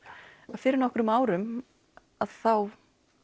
fyrir nokkrum árum þá